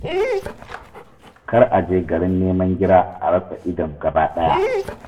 Kar a je garin nema gira a rasa idon gabaɗaya.